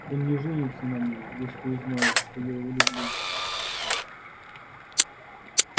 он не женится на ней если узнает что я его люблю